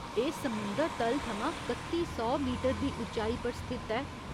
एह् समुंदर तल थमां कत्ती सौ मीटर दी उच्चाई पर स्थित ऐ।